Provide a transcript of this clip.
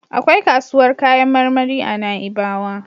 Akwai kasuwar kayan marmari a Na'ibawa.